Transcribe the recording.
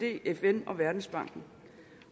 fn og verdensbanken